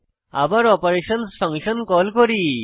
আবার অপারেশনসহ function call করি